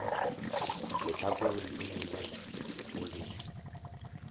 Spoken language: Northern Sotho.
lehlakoreng le lengwe o be